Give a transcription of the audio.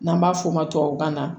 N'an b'a f'o ma tubabukan na